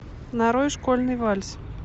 нарой школьный вальс